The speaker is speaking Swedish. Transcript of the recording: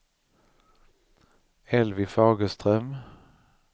Elvy Fagerström